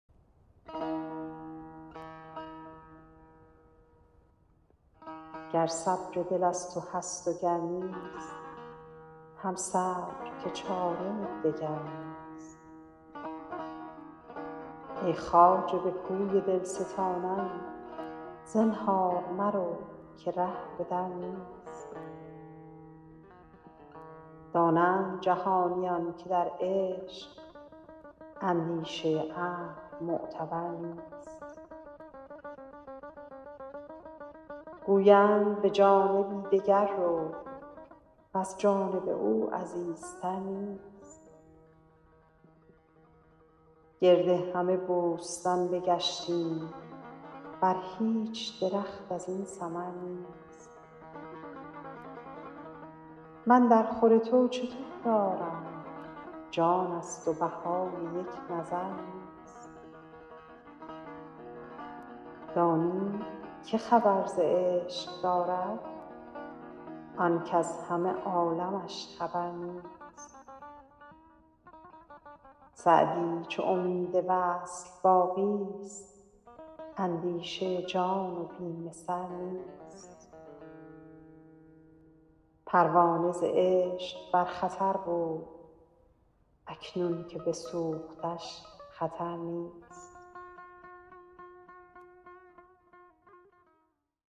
گر صبر دل از تو هست و گر نیست هم صبر که چاره دگر نیست ای خواجه به کوی دل ستانان زنهار مرو که ره به در نیست دانند جهانیان که در عشق اندیشه عقل معتبر نیست گویند به جانبی دگر رو وز جانب او عزیزتر نیست گرد همه بوستان بگشتیم بر هیچ درخت از این ثمر نیست من درخور تو چه تحفه آرم جان ست و بهای یک نظر نیست دانی که خبر ز عشق دارد آن کز همه عالمش خبر نیست سعدی چو امید وصل باقی ست اندیشه جان و بیم سر نیست پروانه ز عشق بر خطر بود اکنون که بسوختش خطر نیست